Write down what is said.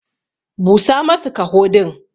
Busa masu kaho din.